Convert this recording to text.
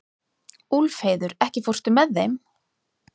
Úlfheiður, ekki fórstu með þeim?